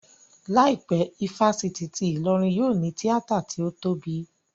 Láìpẹ́, ifásitì ti Ìlọrin yóò ní tíátà tí ó tóbi